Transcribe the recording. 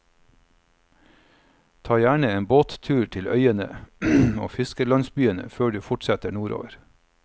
Ta gjerne en båttur til øyene og fiskerlandsbyene før du fortsetter nordover.